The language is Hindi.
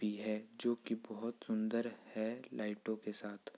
भी है जोकि बहुत सुंदर है लाइटों के साथ।